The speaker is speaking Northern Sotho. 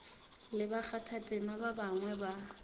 le bakgathatema ba bangwe ba